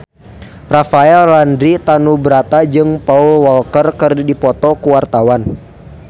Rafael Landry Tanubrata jeung Paul Walker keur dipoto ku wartawan